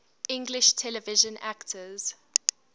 english television actors